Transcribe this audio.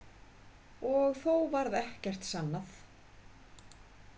Og þó varð ekkert sannað.